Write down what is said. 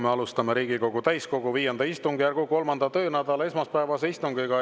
Me alustame Riigikogu täiskogu V istungjärgu 3. töönädala esmaspäevast istungit.